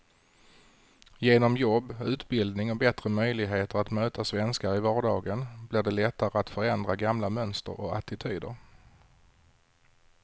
Genom jobb, utbildning och bättre möjligheter att möta svenskar i vardagen blir det lättare att förändra gamla mönster och attityder.